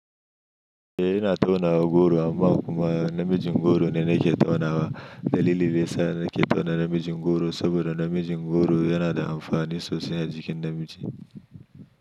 Eh ina tauna goro amma kuma namijin goro ne nake taunawa. Dalilin dayasa nake tauna namijin goro saboda namijin goro yana da amfani sosai a jikin namiji.